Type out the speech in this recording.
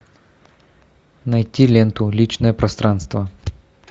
найти ленту личное пространство